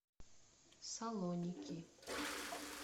салоники